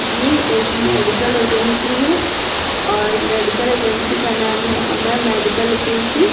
ये एक medical agency है और मेडिकल एजेंसी का नाम है अमय मेडिकल एजेंसी --